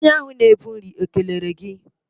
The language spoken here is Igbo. Onye ahụ na-ebu nri ekelere gị?